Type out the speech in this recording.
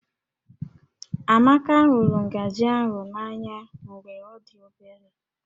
Amaka hụrụ ngaji ahụ n'anya mgbe ọ dị obere